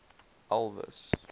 elvis